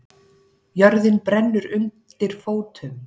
Jörðin brennur undir fótum